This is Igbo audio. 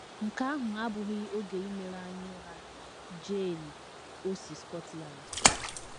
Nke ahụ abụghị oge imewe anya ụra! ” Jean, o si Scotland.